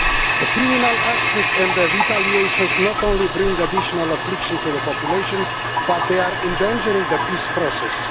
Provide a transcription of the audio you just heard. The criminal actions and the retaliations not only bring additional affliction to the population, but they are endangering the peace process.